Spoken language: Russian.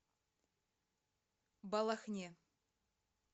балахне